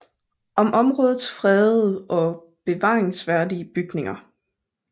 Om områdets fredede og bevaringsværdige bygninger